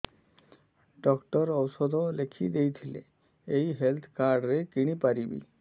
doctor ଔଷଧ ଲେଖିଦେଇଥିଲେ ଏଇ ହେଲ୍ଥ କାର୍ଡ ରେ କିଣିପାରିବି